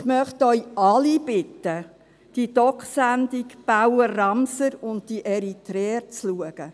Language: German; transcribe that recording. Ich möchte Sie alle bitten, sich die «Dok»-Sendung «Bauer Ramser und die Eritreer» anzuschauen.